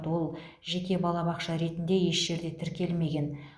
ол жеке балабақша ретінде еш жерде тіркелмеген